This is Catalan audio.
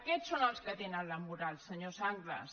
aquests són els que tenen la moral senyor sanglas